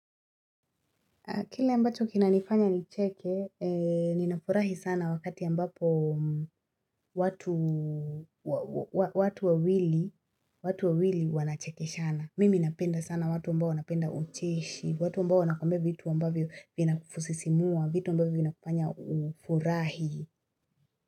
Kile ambacho kinanifanya nicheke, ninafurahi sana wakati ambapo watu wawili wanachekeshana. Mimi napenda sana watu ambao napenda ucheshi, watu ambao wakumbia vitu ambavyo vinafusisimua, vitu ambavyo vinafanya ufurahi.